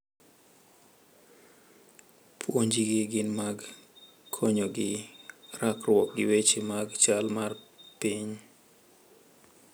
Puonjgi gin mag konyogi rakruok gi weche mag chal mar piny.